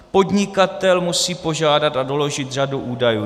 Podnikatel musí požádat a doložit řadu údajů.